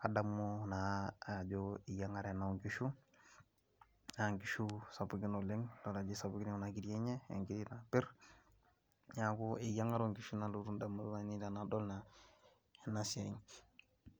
kadabu ajo eyiang'are ena oonkishu sapuki naa kadol ajo kisapuki kuna kiri naa kepir.